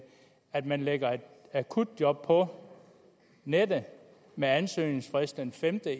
at man lægger et akutjob på nettet med ansøgningsfrist den femte